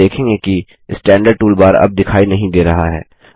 आप देखेंगे कि स्टैंडर्ड टूलबार अब दिखाई नहीं दे रहा है